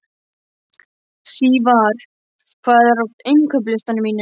Sívar, hvað er á innkaupalistanum mínum?